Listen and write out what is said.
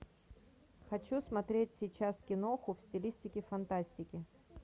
хочу смотреть сейчас киноху в стилистике фантастики